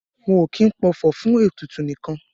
Wọn o kin pọfọ̀ fun ètùtù nikan.